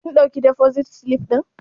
Kin ɗauki defosit silif ɗin?